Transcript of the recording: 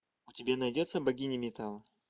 у тебя найдется богиня металла